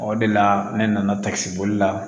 O de la ne nana takisiboli la